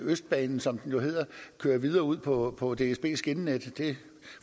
østbanen som den jo hedder kører videre ud på på dsbs skinnenet det